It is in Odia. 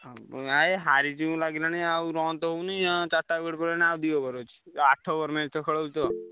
ଏ ହାରିଯିବୁ ଲାଗିଲାଣି ଆଉ run ତ ହଉନି ଚାରିଟା wicket ପଡିଲାନି ଆଉ ଦି over ଅଛି ଆଠ over match ଖେଳ ହଉଛି ତ।